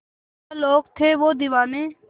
क्या लोग थे वो दीवाने